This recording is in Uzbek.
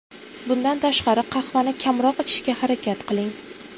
Bundan tashqari, qahvani kamroq ichishga harakat qiling.